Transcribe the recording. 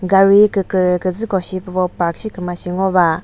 gari kükre kre küzü koshi püvo park shi küma shi ngova.